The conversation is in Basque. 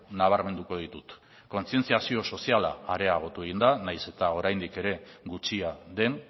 nabarmenduko ditut kontzientziazio soziala areagotu egin da nahiz eta oraindik ere gutxia den